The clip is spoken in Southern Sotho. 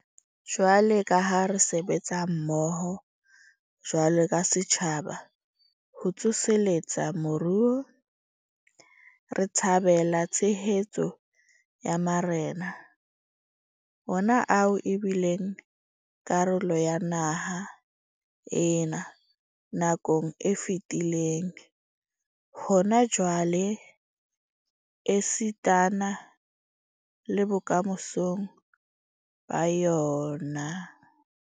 Jwalo ka ha re sebetsa mmoho jwalo ka setjhaba ho tsoseletsa moruo, re thabela tshehetso ya marena, ona ao e bileng karolo ya naha ena nakong e fetileng, hona jwale esitana le bokamosong ba yona.